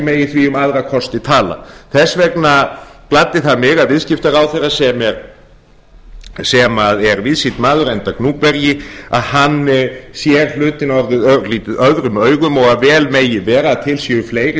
megi því um aðra kosti tala þess vegna gladdi það mig að viðskiptaráðherra sem er víðsýnn maður enda gnúpverji hann sér hlutina örlítið öðrum augum og vel megi vera að til séu fleiri